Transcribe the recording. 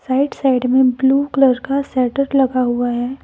Right side में blue colour का shutter लगा हुआ है।